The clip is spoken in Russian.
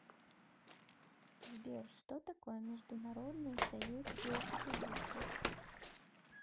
сбер что такое международный союз велосипедистов